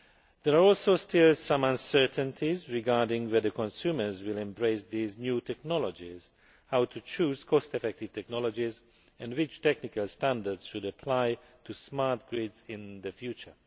There are also still some uncertainties regarding whether consumers will embrace these new technologies, how to choose cost effective technologies and which technical standards should apply to smart grids in the future.